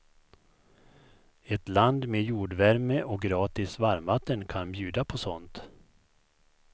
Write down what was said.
Ett land med jordvärme och gratis varmvatten kan bjuda på sånt.